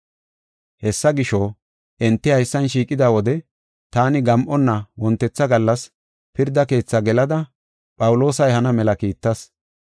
“Hessa gisho, enti haysan shiiqida wode taani gam7onna wontetha gallas pirda keethaa gelada Phawuloosa ehana mela kiittas.